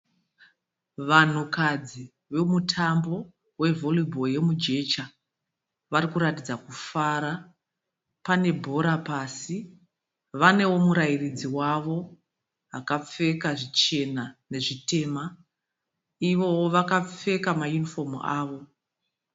Vanhukadzi vomutambo wevhoribhoro yemujecha. Vari kuratidza kufara. Pane bhora pasi. Vanewo murairadzi wavo akapfeka zvichena nezvitema. Ivowo vakapfeka mayunifomu avo.